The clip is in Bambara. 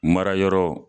Mara yɔrɔ